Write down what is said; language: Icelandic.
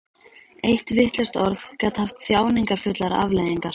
Eitt vitlaust orð gat haft þjáningarfullar afleiðingar.